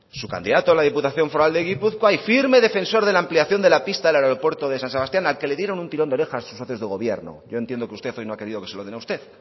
su candidato a la diputación foral de gipuzkoa y firme defensor de la ampliación de la pista del aeropuerto de san sebastián al que le dieron un tirón de orejas socios de gobierno yo entiendo que usted no ha querido que se lo den a usted